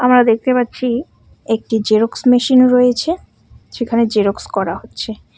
আমরা দেখতে পাচ্ছি একটি জেরক্স মেশিন রয়েছে সেখানে জেরক্স করা হচ্ছে।